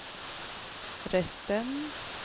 resten